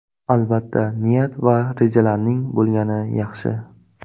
Albatta, niyat va rejalarning bo‘lgani yaxshi.